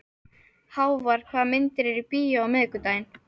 Hávar, hvaða myndir eru í bíó á miðvikudaginn?